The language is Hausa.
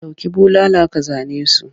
Dauki bulala ka zane su!